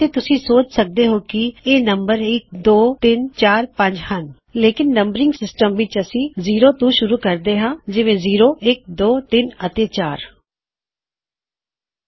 ਫੇਰ ਤੁਸੀਂ ਸੋਚ ਸਕਦੇ ਹੋਂ ਕੀ ਇਹ ਪਹਿਲਾਦੂਜਾ ਤੀਜਾਚੋਥਾ ਅਤੇ ਪੰਜਵਾ ਹੈ onetwothreeਫੋਰ ਐਂਡ ਫਾਈਵ ਨੰਬਰਿੰਗ ਸਿਸਟਮ ਦੀ ਵਜਾ ਤੋਂ ਜਿਵੇਂ ਵੀ ਦੀ ਸਟੈਨਡਰਡ ਨੰਬਰਿੰਗ ਸਿਸਟਮ ਅਸੀਂ ਜ਼ੀਰੋ ਤੋਂ ਸ਼ੁਰੂ ਕਰਾਂਗੇ ਜ਼ੀਰੋਇੱਕਦੋ ਤਿੰਨ ਅਤੇ ਚਾਰ